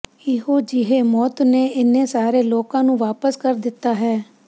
ਇਹੋ ਜਿਹੇ ਮੌਤ ਨੇ ਇੰਨੇ ਸਾਰੇ ਲੋਕਾਂ ਨੂੰ ਵਾਪਸ ਕਰ ਦਿੱਤਾ ਹੈ